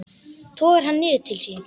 Togar hann niður til sín.